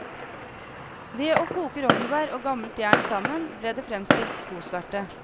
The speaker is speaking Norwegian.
Ved å koke rognebær og gammelt jern sammen, ble det fremstilt skosverte.